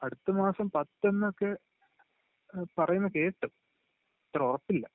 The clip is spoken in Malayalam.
അടുത്തമാസം പത്തെന്നൊക്കെ പറയുന്നകേട്ട്.. അത്ര ഉറപ്പില്ല..